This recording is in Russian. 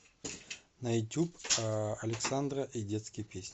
на ютуб александра и детские песни